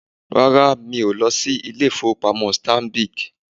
Rárá, mí o lọ sí ilé-ìfowópamọ́ Stanbic